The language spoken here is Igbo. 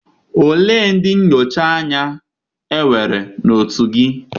ole ndị nnọchi anya enwere na otu gị?